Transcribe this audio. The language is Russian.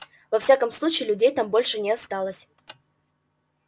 во всяком случае людей там больше не осталось